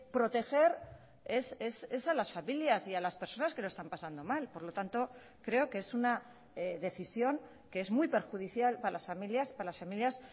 proteger es a las familias y a las personas que lo están pasando mal por lo tanto creo que es una decisión que es muy perjudicial para las familias para las familias